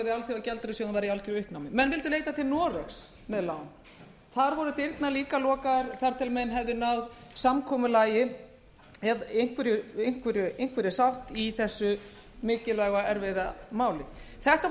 uppnámi menn vildu leita til noregs með lán þar voru dyrnar líka lokaðar þar til menn hefðu náð samkomulagi eða einhverri sátt í þessu mikilvæga og erfiða máli þetta voru